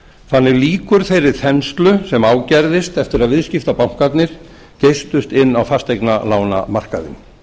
þannig lýkur þeirri þenslu sem ágerðist eftir að viðskiptabankarnir geystust inn á fasteignalánamarkaðinn